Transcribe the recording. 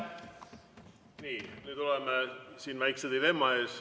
Nii, nüüd oleme väikese dilemma ees.